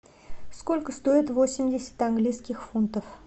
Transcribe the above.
сколько стоит восемьдесят английских фунтов